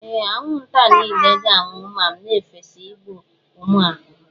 Ee, anwụnta niile ga-anwụ ma m na-efesa igbu ụmụ ahụhụ.